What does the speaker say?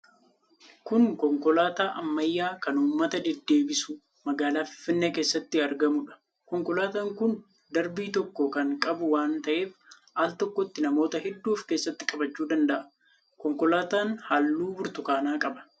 Kun konkolaataa ammayyaa kan uummata deddeebisu, magaalaa Finfinnee keessatti argamuudha. Konkolaataan kun darbii tokko kan qabu waan ta'eef al tokkotti namoota hedduu of keessatti qabachuu danda'a. Konkolaataan halluu burtukaanaa qaba.